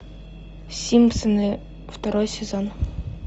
симпсоны второй сезон